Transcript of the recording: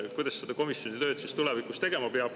Kuidas seda komisjoni tööd siis tulevikus tegema peab?